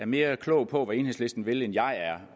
mere klog på hvad enhedslisten vil end jeg er